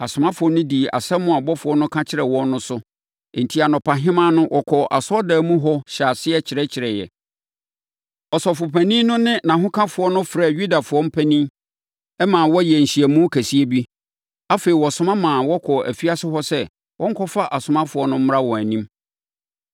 Asomafoɔ no dii asɛm a ɔbɔfoɔ no ka kyerɛɛ wɔn no so; enti, anɔpahema no wɔkɔɔ asɔredan mu hɔ hyɛɛ aseɛ kyerɛkyerɛeɛ. Ɔsɔfopanin no ne nʼahokafoɔ no frɛɛ Yudafoɔ mpanin maa wɔyɛɛ nhyiamu kɛseɛ bi; afei, wɔsoma maa wɔkɔɔ afiase hɔ sɛ wɔnkɔfa asomafoɔ no mmra wɔn anim.